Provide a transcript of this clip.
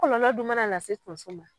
Kɔlɔlɔ dun ma na se tonso ma.